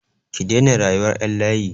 Ki daina rayuwar ƴan layi!